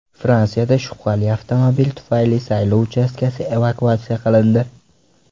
Fransiyada shubhali avtomobil tufayli saylov uchastkasi evakuatsiya qilindi.